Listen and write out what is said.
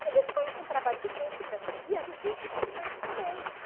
Mas isso foi um trabalho difícil para mim, e é difícil para as mães também.